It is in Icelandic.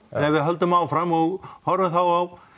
en ef við höldum áfram og horfum þá á